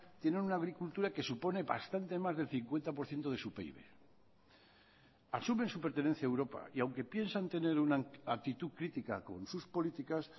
tienen una agricultura que supone bastante más del cincuenta por ciento de su pib asumen su pertenencia a europa y aunque piensan tener una actitud crítica con sus políticas